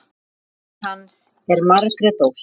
Dóttir hans er Margrét Ósk.